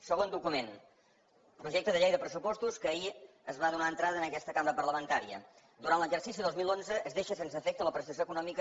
segon document projecte de llei de pressupostos a què ahir es va donar entrada en aquesta cambra parlamentària durant l’exercici dos mil onze es deixa sense efecte la prestació econòmica